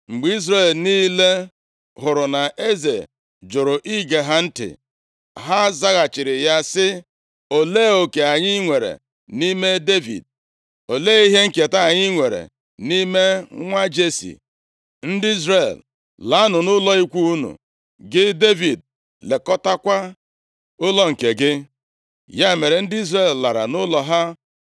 Mgbe Izrel niile hụrụ na eze jụrụ ige ha ntị, ha zaghachiri ya sị, “Olee oke anyị nwere nʼime Devid? Olee ihe nketa anyị nwere nʼime nwa Jesi? Ndị Izrel, laanụ nʼụlọ ikwu unu! Gị Devid lekọtakwa ụlọ nke gị.” Ya mere, ndị Izrel lara nʼụlọ ha.